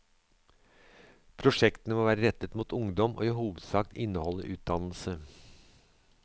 Prosjektene må være rettet mot ungdom, og i hovedsak inneholde utdannelse.